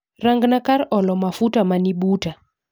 Ranga kar olo mafuta manibuta